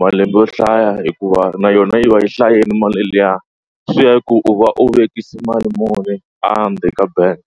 malembe yo hlaya hikuva na yona yi va yi hlayeni mali liya swi ya hi ku u va u vekisa mali muni ka bank.